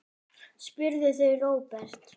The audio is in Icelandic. spurðu þau Róbert.